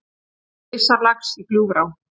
Risalax í Gljúfurá